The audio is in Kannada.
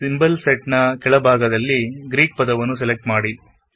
ಸಿಂಬಲ್ ಸೆಟ್ ನ ಕೆಳಭಾಗದಲ್ಲಿ ಗ್ರೀಕ್ ಪದವನ್ನು ಸೆಲೆಕ್ಟ್ ಮಾಡಿ